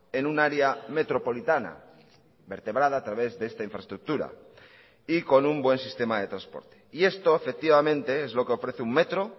en un área metropolitana vertebrada a través de esta infraestructura y con un buen sistema de transporte y esto efectivamente es lo que ofrece un metro